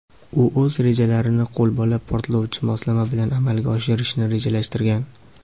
u o‘z rejalarini qo‘lbola portlovchi moslama bilan amalga oshirishni rejalashtirgan.